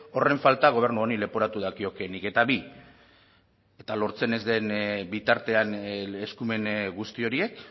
horren falta gobernu honi leporatu dakiokeenik eta bi eta lortzen ez den bitartean eskumen guzti horiek